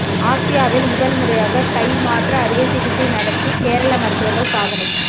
ஆசியாவில் முதல் முறையாக கை மாற்று அறுவை சிகிச்சை நடத்தி கேரள மருத்துவர்கள் சாதனை